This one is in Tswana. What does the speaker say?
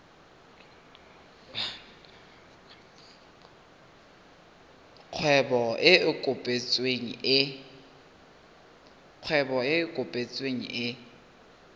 kgwebo e e kopetsweng e